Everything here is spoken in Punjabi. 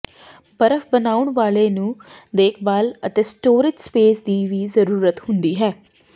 ਬਰਫ ਬਣਾਉਣ ਵਾਲੇ ਨੂੰ ਦੇਖਭਾਲ ਅਤੇ ਸਟੋਰੇਜ ਸਪੇਸ ਦੀ ਜ਼ਰੂਰਤ ਹੁੰਦੀ ਹੈ